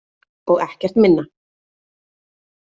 Og ekkert minna.